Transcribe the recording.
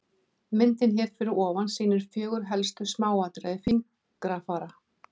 Myndin hér fyrir ofan sýnir fjögur helstu smáatriði fingrafara.